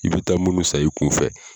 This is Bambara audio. I bɛ taa munnu san i kun fɛ.